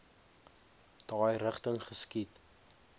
daai rigting geskiet